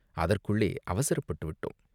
அதற்குள்ளே அவசரப்பட்டு விட்டோ ம்.